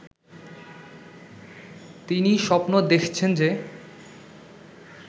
তিনি স্বপ্ন দেখছেন যে